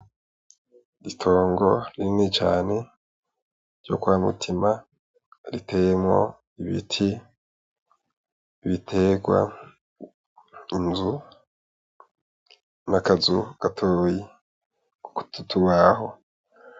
Ritongo rinini cane ryo kwa mutima riteyemwo ibiti ibiterwa inzu n'akazu gatoyi, twutubaho.